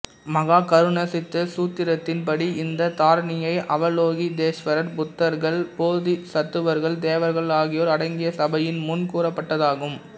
மஹாகருணாசித்த சூத்திரத்தின் படி இந்த தாரணியை அவலோகிதேஷ்வரர் புத்தர்கள் போதிசத்துவர்கள் தேவர்கள் ஆகியோர் அடங்கிய சபையின் முன் கூறப்பட்டதாகும்